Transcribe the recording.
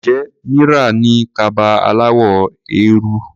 Ǹjẹ́ Mira ní kaba aláwọ̀ eérú?